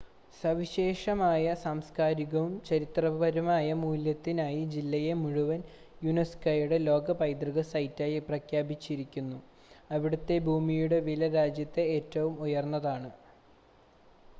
സവിശേഷമായ സാംസ്കാരികവും ചരിത്രപരവുമായ മൂല്യത്തിനായി ജില്ലയെ മുഴുവൻ യുനെസ്കോയുടെ ലോക പൈതൃക സൈറ്റായി പ്രഖ്യാപിച്ചിരിക്കുന്നു അവിടുത്തെ ഭൂമിയുടെ വില രാജ്യത്തെ ഏറ്റവും ഉയർന്നതാണ്